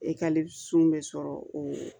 bɛ sɔrɔ o